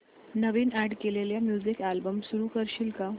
नवीन add केलेला music album सुरू करू शकशील का